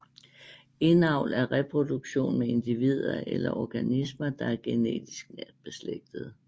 Indavl er reproduktion med individer eller organismer der er genetisk nært beslægtede